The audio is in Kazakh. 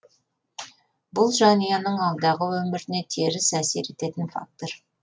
бұл жанұяның алдағы өміріне теріс әсер ететін фактор